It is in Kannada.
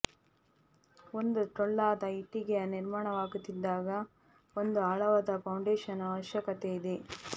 ಒಂದು ಟೊಳ್ಳಾದ ಇಟ್ಟಿಗೆಯ ನಿರ್ಮಾಣವಾಗುತ್ತಿದ್ದಾಗ ಒಂದು ಆಳವಾದ ಫೌಂಡೇಶನ್ ಅವಶ್ಯಕತೆ ಇದೆ